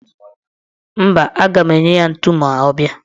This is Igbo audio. Mba, aga m enye ya ntu ma ọ bịa.